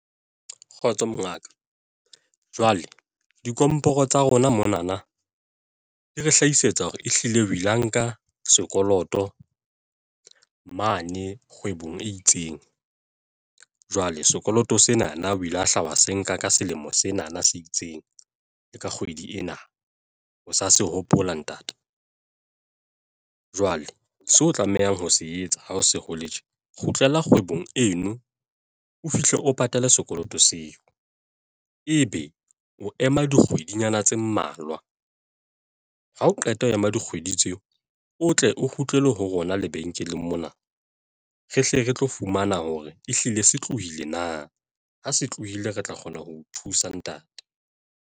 Kgotso Mongaka jwale dikomporo tsa rona mona na di re hlahisetsa hore ehlile o ile wa nka sekoloto mane kgwebong e itseng jwale sekoloto sena na o ile wa hla se nka ka selemo sena na se itseng le ka kgwedi ena o sa se hopola ntate jwale seo o tlamehang ho se etsa ha ho se hole tje. Kgutlela kgwebong eno o fihle o patale sekoloto seo, ebe o ema dikgwedinyana tse mmalwa ha o qeta ho ema dikgwedi tseo o tle o kgutlele ho rona lebenkeleng mona re hle re tlo fumana hore ehlile se tlohile na ha se tlohile re tla kgona ho o thusa ntate.